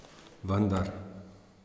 Vendar ...